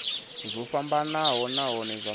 zwo fhambanaho nahone zwa maimo